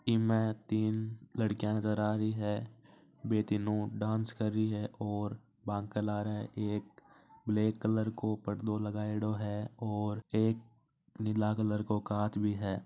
में तीन लड़कियां नज़र आ रही है वे तीनो डांस कर रही है और बा आ रही है एक ब्लैक कलर को पर्दो लगयेड़ो है और एक नीला कलर को का काच भी है।